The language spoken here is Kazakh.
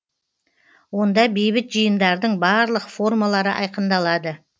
онда бейбіт жиындардың барлық формалары айқындалады